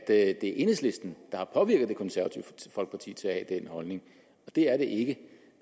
at det er enhedslisten der har påvirket det konservative folkeparti til at have den holdning det er det ikke